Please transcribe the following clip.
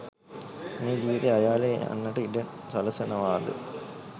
මේ ජීවිතය අයාලේ යන්නට ඉඩ සලසනවාද?